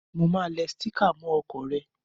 Mo máa le sticker mó okò re